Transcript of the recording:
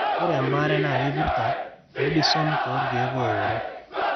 ore embaare naa keipirta prednisone too irkeek ooworo.